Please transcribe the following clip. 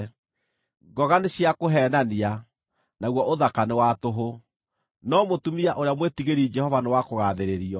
Ngoga nĩ cia kũheenania, naguo ũthaka nĩ wa tũhũ; no mũtumia ũrĩa mwĩtigĩri Jehova nĩ wa kũgaathĩrĩrio.